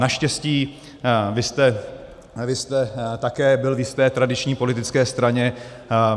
Naštěstí vy jste také byl v jisté tradiční politické straně.